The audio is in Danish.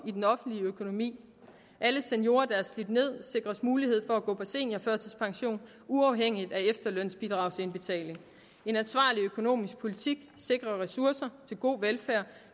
i den offentlige økonomi alle seniorer der er slidt ned sikres mulighed for at gå på seniorførtidspension uafhængigt af efterlønsbidragsindbetaling en ansvarlig økonomisk politik sikrer ressourcer til god velfærd